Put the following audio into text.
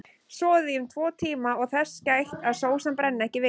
Soðið í um tvo tíma og þess gætt að sósan brenni ekki við.